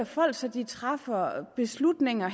folk så de træffer beslutninger